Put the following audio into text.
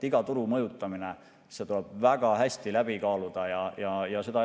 Iga turu mõjutamine tuleb väga hästi läbi kaaluda.